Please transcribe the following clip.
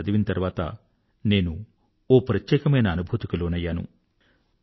వీటిని చదివిన తర్వాత నాకు ఒక ప్రత్యేకమైన అనుభూతికి లోనయ్యాను